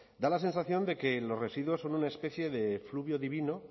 da la sensación de que los residuos son una especie de efluvio divino